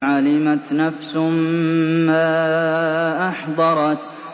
عَلِمَتْ نَفْسٌ مَّا أَحْضَرَتْ